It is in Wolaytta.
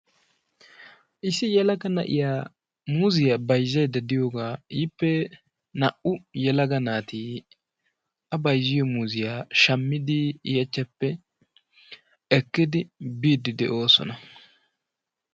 issi yelaga na'iyaa muuziya bayzzayda de'iyoogaa ippe na"u yelaga naati A bayzziyo muuziyaa shaammidi I achchappe ekkidi biidi de'oosona.